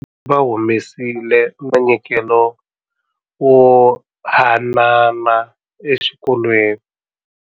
Va humesile munyikelo wo hanana exikolweni.